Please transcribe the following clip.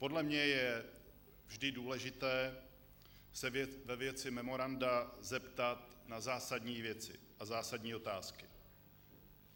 Podle mne je vždy důležité se ve věci memoranda zeptat na zásadní věci, na zásadní otázky.